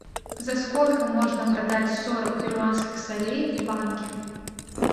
за сколько можно продать сорок перуанских солей в банке